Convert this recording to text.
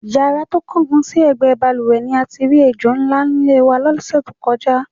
Yàrá tó kángun sí è̩gbé̩ balùwè̩ ni a ti rí ejò ńlá nílé wa ló̩sè̩ tó ko̩já.